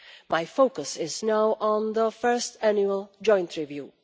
My focus is now on the first annual joint review.